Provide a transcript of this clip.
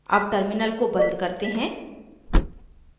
अब terminal को बंद करते हैं